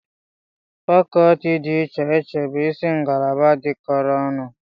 Fakọlti dị iche iche bụ isi ngalaba dịkọrọ ọnụ